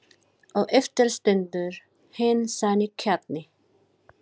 Og eftir stendur hinn sanni kjarni.